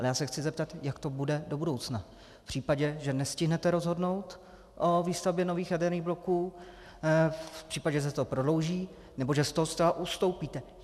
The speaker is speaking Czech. Ale já se chci zeptat, jak to bude do budoucna v případě, že nestihnete rozhodnout o výstavbě nových jaderných bloků, v případě, že se to prodlouží nebo že z toho zcela ustoupíte.